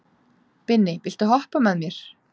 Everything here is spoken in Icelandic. Binni, viltu hoppa með mér?